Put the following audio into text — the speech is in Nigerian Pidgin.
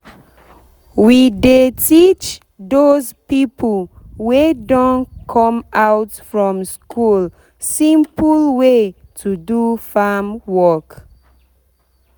we dey teach dos pipo wey don come out from school simple way to do farm work